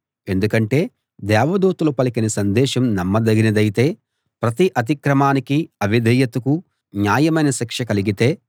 ఎందుకంటే దేవదూతలు పలికిన సందేశం నమ్మదగినదైతే ప్రతి అతిక్రమానికీ అవిధేయతకూ న్యాయమైన శిక్ష కలిగితే